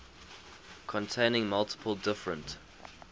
containing multiple different